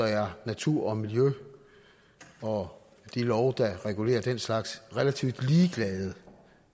er natur og miljø og de love der regulerer den slags relativt ligeglade